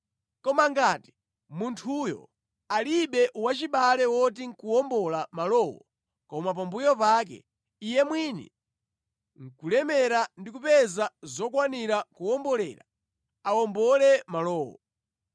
Koma ngati munthuyo alibe wachibale woti nʼkuwombola malowo koma pambuyo pake iye mwini nʼkulemera ndi kupeza zokwanira kuwombolera, awombole malowo.